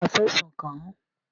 Ṣé wàá fẹ̀sùn kàn án?